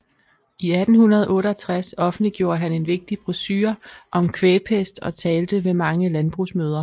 I 1868 offentliggjorde han en vigtig brochure om kvægpest og talte ved mange landbrugsmøder